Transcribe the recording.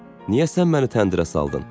Niyə sən məni təndirə saldın?